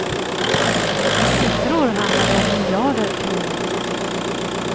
I siffror handlar det om miljarder kronor.